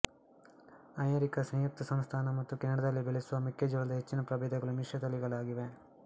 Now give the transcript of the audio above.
America ಸಂಯುಕ್ತ ಸಂಸ್ಥಾನ ಮತ್ತು ಕೆನಡಾದಲ್ಲಿ ಬೆಳೆಸುವ ಮೆಕ್ಕೆ ಜೋಳದ ಹೆಚ್ಚಿನ ಪ್ರಭೇದಗಳು ಮಿಶ್ರ ತಳಿಗಳಾಗಿವೆ